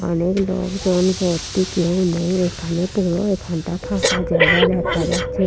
অনেক লোকজন ভর্তি কেউ নেই এখানে পুরো এখানটা ফাঁকা জায়গা দেখা যাচ্ছে।